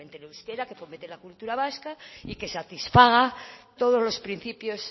fomente el euskera que fomente la cultura vasca y que satisfaga todos los principios